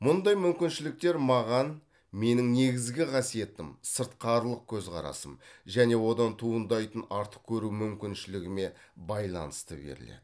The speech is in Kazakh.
мұндай мүмкіншіліктер маған менің негізгі қасиетім сыртқарылық көзқарасым және одан туындайтын артық көру мүмкіншілігіме байланысты беріледі